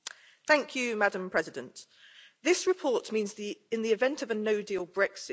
Madam President, this report means that, in the event of a no deal Brexit, the